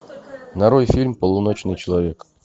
нарой фильм полуночный человек